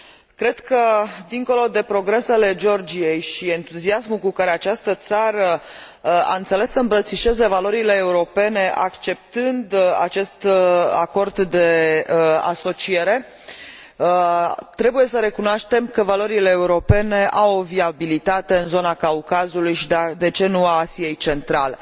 Cred că, dincolo de progresele Georgiei și entuziasmul cu care această țară a înțeles să îmbrățișeze valorile europene acceptând acest acord de asociere, trebuie să recunoaștem că valorile europene au o viabilitate în zona Caucazului și, de ce nu, a Asiei centrale.